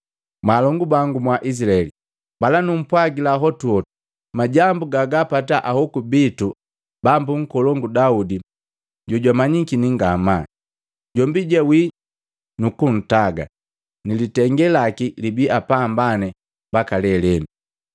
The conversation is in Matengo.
“Mwaalongu bangu mwa Izilaheli, mbala numpwagila hotuhotu majambu gagumpata ahoku bitu bambu nkolongu Daudi jojamanyakini ngamaa. Jombi jawii, nukuntaga, ni litenge laki libi apambane mbaka lelenu.